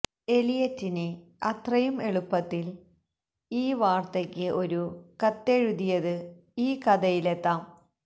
എലിയറ്റിന് അത്രയും എളുപ്പത്തിൽ ഈ വാർത്തയ്ക്ക് ഒരു കത്തെഴുതിയത് ഈ കഥയിലെത്താം